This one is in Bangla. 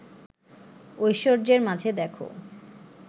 ঐশ্বর্যের মাঝে দেখ